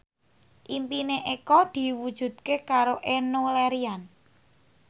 impine Eko diwujudke karo Enno Lerian